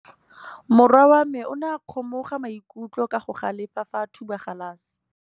Morwa wa me o ne a kgomoga maikutlo ka go galefa fa a thuba galase.